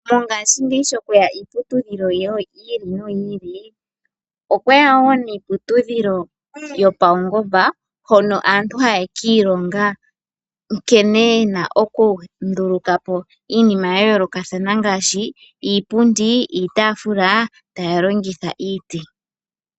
Mongashingeyi sho kweya iiputudhilo yi ili noyi ili , okweya wo niiputudhilo yopaungomba hono aantu haya ka ilonga nkene yena oku ndulukapo iinima ya yoolokathana ngaashi iipundi, iitafula taya longitha iiti.